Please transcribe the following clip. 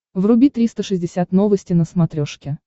вруби триста шестьдесят новости на смотрешке